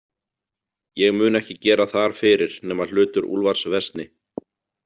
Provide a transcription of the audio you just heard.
Ég mun ekki gera þar fyrir nema hlutur Úlfars versni.